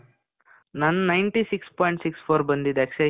ನಂದ್ ninety six point six four ಬಂದಿದೆ ಅಕ್ಷಯ್.